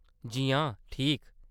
जी हां, ठीक।